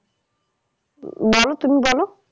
উম বলো তুমি বলো